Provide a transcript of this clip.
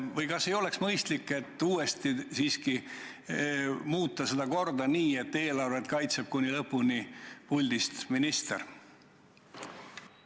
Või kas ei oleks mõistlik uuesti siiski muuta seda korda nii, et eelarvet kaitseks kuni lõpuni puldist minister?